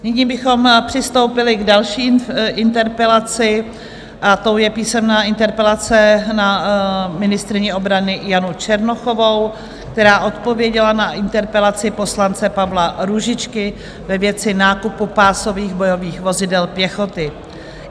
Nyní bychom přistoupili k další interpelaci a tou je písemná interpelace na ministryni obrany Janu Černochovou, která odpověděla na interpelaci poslance Pavla Růžičky ve věci nákupu pásových bojových vozidel pěchoty.